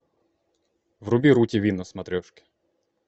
вруби ру тв на смотрешке